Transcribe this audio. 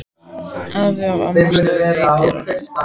Afi og amma stóðu í dyrunum.